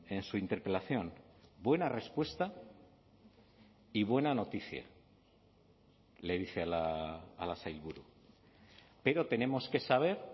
en su interpelación buena respuesta y buena noticia le dice a la sailburu pero tenemos que saber